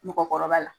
Mɔgɔkɔrɔba la